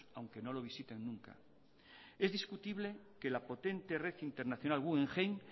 aunque no lo visiten nunca es discutible que la potente red internacional guggenheim